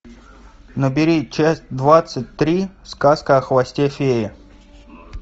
набери часть двадцать три сказка о хвосте феи